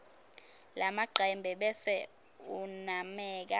lamacembe bese unameka